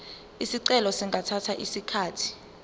izicelo zingathatha isikhathi